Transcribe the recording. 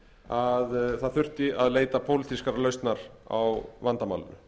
að það þurfti að leita pólitískrar lausnar á vandamálinu